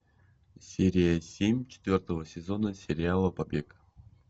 серия семь четвертого сезона сериала побег